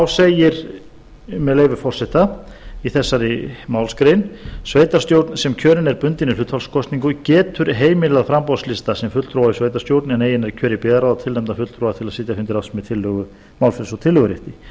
segir með leyfi forseta í þessari málsgrein sveitarstjórn sem kjörin er bundinni hlutfallskosningu getur heimilað framboðslista sem fulltrúa í sveitarstjórn en eigi nær kjöri í byggðarráð að tilnefna fulltrúa til að sitja fundi ráðsins með málfrelsi og tillögurétti